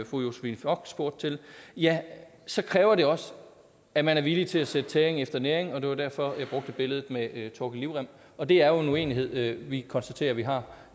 fru josephine fock spurgte til ja så kræver det også at man er villig til at sætte tæring efter næring det var derfor jeg brugte billedet med thorkil livrem og det er jo en uenighed vi konstaterer at vi har